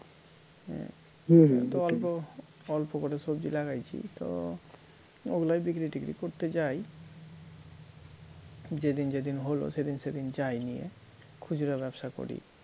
অল্প অল্প করে সবজি লাগাইছি তো ওগুলাই বিক্রী টিক্রী করতে যাই যেদিন যেদিন হল সেদিন সেদিন যাই নিয়ে খুচরো ব্যবসা করি